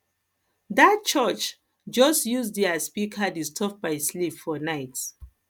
dat church just use their speaker disturb my sleep for night